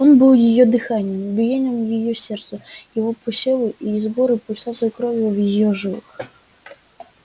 он был её дыханием биением её сердца его посевы и сборы пульсацией крови в её жилах